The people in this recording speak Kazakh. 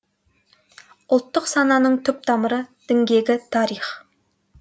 ұлттық сананың түп тамыры діңгегі тарих